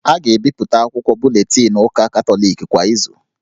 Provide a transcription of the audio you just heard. A ga-ebipụta akwụkwọ buletinụ ụka Katọliki kwa izu